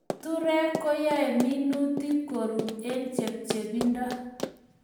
Keturek koyae minutik ko rut eng' chepchepindo